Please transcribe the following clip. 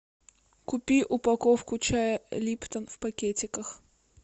купи упаковку чая липтон в пакетиках